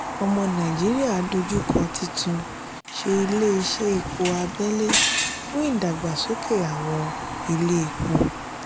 omo naijiria dojú kọ títún ṣe ilé iṣẹ́ epo abẹ́lé fún ìdàgbàsókè àwọn ilé epo.